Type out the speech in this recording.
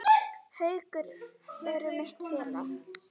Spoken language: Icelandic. Haukar eru mitt félag.